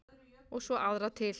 Og svo aðra til.